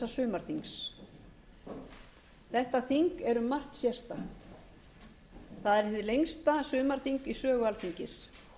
sumarþings þetta þing er um margt sérstakt það er hið lengsta sumarþing í sögu alþingis